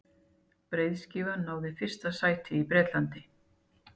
breiðskífan náði fyrsta sæti í bretlandi